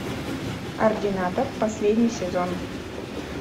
ординатор последний сезон